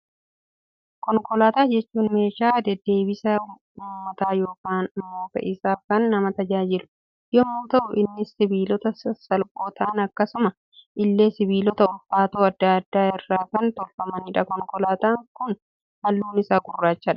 Konkolaataa jechuun meeshaa deddeebisa uummataa yookaan immoo fe'iisaaf kan nama tajaajilu, yemmuu ta'u innis sibiilota sasalphoo ta'an akkasuma illee sibiilota ulfaatoo addaa addaa irraa kan tolfamedha. Konkolaataan kun halluun isaa gurraachadha.